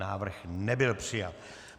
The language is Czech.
Návrh nebyl přijat.